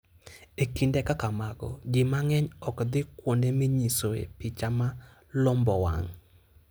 E kinde kaka mago, ji mang'eny ok dhi kuonde minyisoe piche ma lombo wang'.